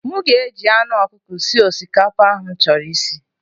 M ga-eji anụ ọkụkọ sie osikapa ahụ m chọrọ isi.